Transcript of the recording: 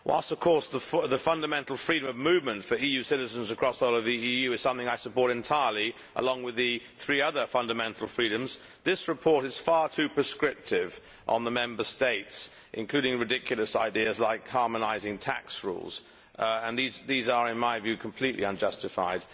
Whilst of course the fundamental freedom of movement for EU citizens across the whole of the EU is something I support entirely, along with the three other fundamental freedoms, this report is far too prescriptive on the Member States, including ridiculous ideas like harmonising tax rules and these are in my view completely unjustified.